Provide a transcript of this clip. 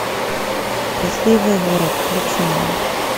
счастливый город включи мне